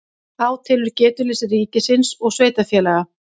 Átelur getuleysi ríkis og sveitarfélaga